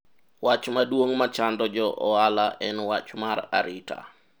wach maduong' machando jo ohala en wach mar arita